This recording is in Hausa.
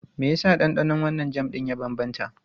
Me yasa ɗanɗanon wannan jam ɗin ya bambanta?